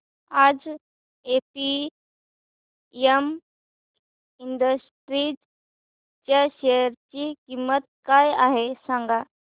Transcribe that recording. आज APM industries च्या share ची किंमत काय आहे सांगा